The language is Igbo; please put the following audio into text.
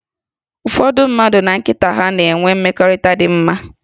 Ụfọdụ ụmụ mmadụ na nkịta ha na-enwe mmekọrịta dị mma